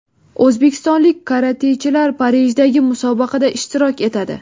O‘zbekistonlik karatechilar Parijdagi musobaqada ishtirok etadi.